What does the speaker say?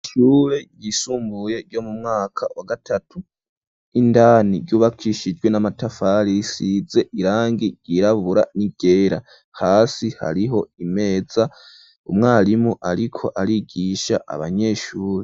Ishure ryisumbuye ryo mu mwaka wa gatatu, indani ryubakishijwe n'amatafari risize irangi ryirabura n'iryera hasi hariho imeza, umwarimu ariko arigisha abanyeshure.